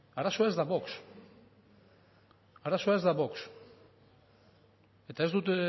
arazoa ez da vox arazoa ez da vox eta ez dut